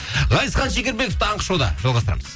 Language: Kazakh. ғазизхан шекербеков таңғы шоуда жалғастырамыз